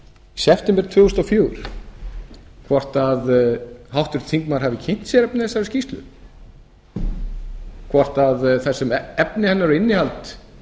september tvö þúsund og fjögur hvort háttvirtur þingmaður hafi kynnt sér efni þessarar skýrslu hvort efni hennar og innihald